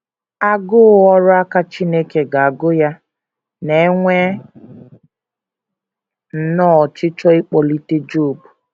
‘ Agụụ ọrụ aka Chineke ga - agụ Ya, ’ na - enwe nnọọ ọchịchọ ịkpọlite Job.